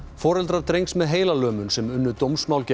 foreldrar drengs með heilalömun sem unnu dómsmál gegn